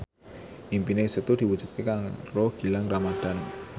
impine Setu diwujudke karo Gilang Ramadan